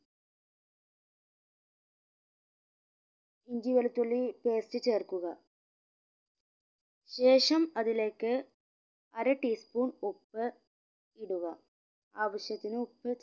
ഇഞ്ചി വെളുത്തുള്ളി paste ചേർക്കുക ശേഷം അതിലേക്ക് അര tea spoon ഉപ്പ് ഇടുക ആവിശ്യത്തിന് ഉപ്പ്